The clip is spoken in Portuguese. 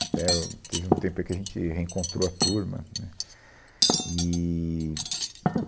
Até o teve um tempo aí em que a gente reencontrou a turma, né, e, ah.